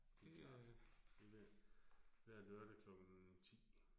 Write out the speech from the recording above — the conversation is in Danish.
Det klart. Det vil hver lørdag klokken 10